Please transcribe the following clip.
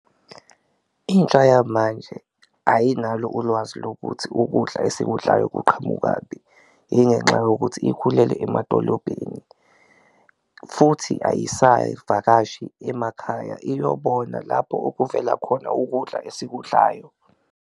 Intsha yamanje ayinalo ulwazi lokuthi ukudla esikudlayo kuqhamukaphi, ingenxa yokuthi ikhulele emadolobheni futhi ayisayivakashi emakhaya iyobona lapho okuvela khona ukudla esikudlayo.